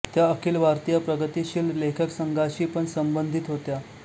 त्या अखिल भारतीय प्रगतिशील लेखक संघाशी पण संबंधीत होत्या